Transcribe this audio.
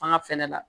An ka fɛnɛ la